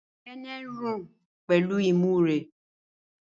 Nene ń rùn pẹ̀lú imú rẹ̀.